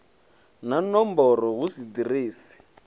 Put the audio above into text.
na nomboro hu si ḓiresi